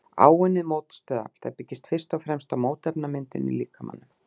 Áunnið mótstöðuafl: Það byggist fyrst og fremst á mótefnamyndun í líkamanum.